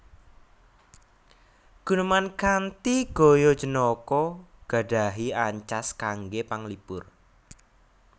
Guneman kanthi gaya jenaka gadhahi ancas kangge panglipur